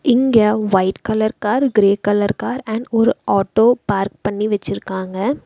இங்க white colour car grey colour car and ஒரு auto park பண்ணி வெச்சிருக்காங்க.